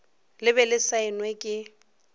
le be le saenwe ke